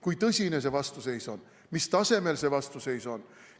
Kui tõsine see vastuseis on, mis tasemel see vastuseis on?